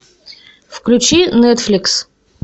включи нетфликс